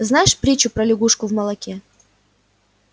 знаешь притчу про лягушку в молоке